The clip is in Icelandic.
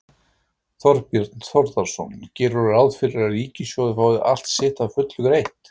Þorbjörn Þórðarson: Gerirðu ráð fyrir að ríkissjóður fái allt sitt að fullu greitt?